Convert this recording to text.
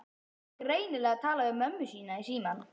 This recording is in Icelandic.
Hann var greinilega að tala við mömmu sína í símann.